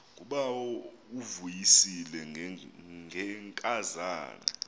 ngubawo uvuyisile ngenkazana